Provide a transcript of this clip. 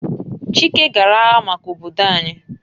Chike gara agha maka obodo anyi